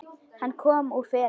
Hann kom úr felum.